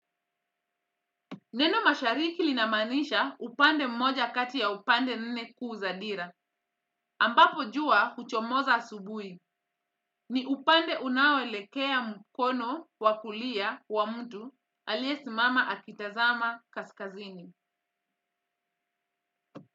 Neno mashariki linamaanisha upande mmoja kati ya upande nne kuu za dira, ambapo jua huchomoza asubuhi, ni upande unaoelekea mkono wa kulia wa mtu aliyesimama akitazama kaskazini.